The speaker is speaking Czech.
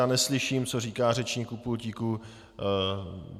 Já neslyším, co říká řečník u pultíku.